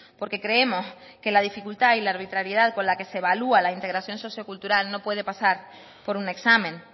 porque creemos que la dificultad y la arbitrariedad con la que se evalúa la integración sociocultural no puede pasar por un examen